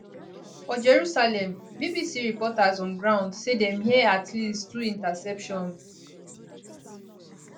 for jerusalem bbc reporters on ground say dem hear at least two interceptions